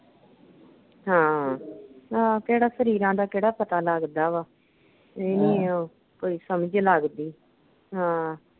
ਹਾਂ, ਆਹ ਕਿਹੜਾ ਸਰੀਰਾਂ ਦਾ ਕਿਹੜਾ ਪਤਾ ਲੱਗਦਾ ਵਾਂ ਕੋਈ ਸਮਝ ਲੱਗਦੀ।